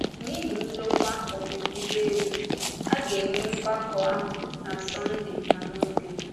N’ihi ndòkwa ọpụpụ ụgbọelu, a ga-enwe mgbakọ ahụ na Sọnde na Mọnde.